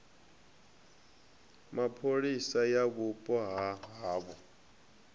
mapholisa ya vhupo ha havho